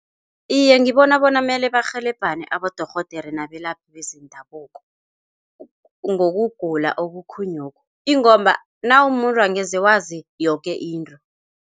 Iye, ngibona bona mele barhelebhane abodorhodere nabelaphi bezendabuko, ngokugula obukhunyokhu ingomba nawumumuntu angeze wazi yoke into.